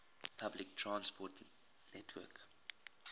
public transport network